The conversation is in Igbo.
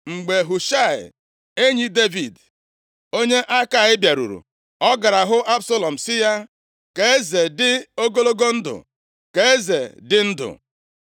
Mgbe Hushaị, enyi Devid, onye Akai bịaruru, ọ gara hụ Absalọm sị ya, “Ka eze dị ogologo ndụ, ka eze dị ndụ.”